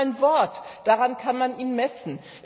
Das ist mal ein Wort, daran kann man ihn messen.